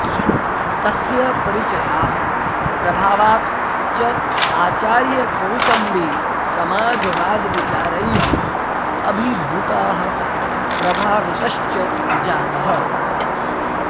तस्य परिचयात् प्रभावात् च आचार्यकोसम्बी समाजवादविचारैः अभिभूतः प्रभावितश्च जातः